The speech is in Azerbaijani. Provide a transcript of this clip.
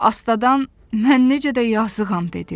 Astadan mən necə də yazıqam dedi.